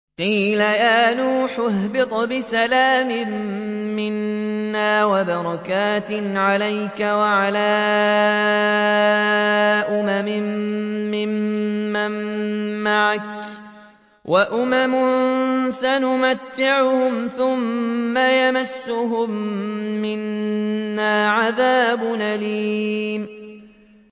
قِيلَ يَا نُوحُ اهْبِطْ بِسَلَامٍ مِّنَّا وَبَرَكَاتٍ عَلَيْكَ وَعَلَىٰ أُمَمٍ مِّمَّن مَّعَكَ ۚ وَأُمَمٌ سَنُمَتِّعُهُمْ ثُمَّ يَمَسُّهُم مِّنَّا عَذَابٌ أَلِيمٌ